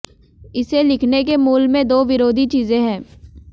इसे लिखने के मूल में दो विरोधी चीज़ें हैं